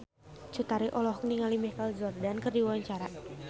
Cut Tari olohok ningali Michael Jordan keur diwawancara